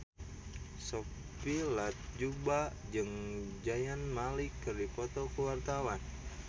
Sophia Latjuba jeung Zayn Malik keur dipoto ku wartawan